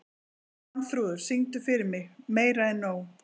Svanþrúður, syngdu fyrir mig „Meira En Nóg“.